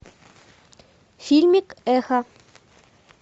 фильмик эхо